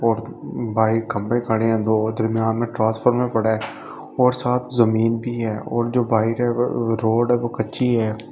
और बाहिर खंभे खड़े हैं दो दरमियान में ट्रांसफर में पड़ा है और साथ जमीन भी है और जो बाहिर है रोड है वो कच्ची है।